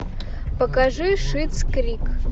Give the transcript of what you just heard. покажи шиттс крик